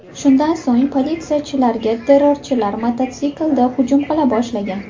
Shundan so‘ng politsiyachilarga terrorchilar mototsiklda hujum qila boshlagan.